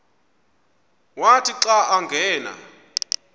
wathi xa angena